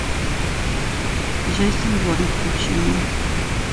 джейсон борн включи мне